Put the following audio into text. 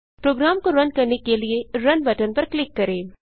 programme को run करने के लिए रुन बटन पर क्लिक करें